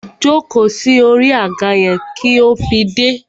Jóko sí orí àga yẹn kí ó fi dé!